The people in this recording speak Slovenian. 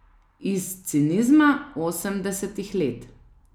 Iz cinizma osemdesetih let.